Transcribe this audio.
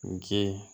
Ji